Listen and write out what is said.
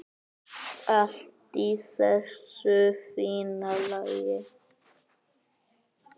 Allt í þessu fína lagi.